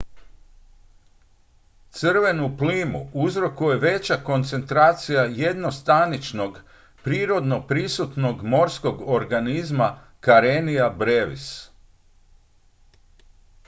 crvenu plimu uzrokuje veća koncentracija jednostaničnog prirodno prisutnog morskog organizma karenia brevis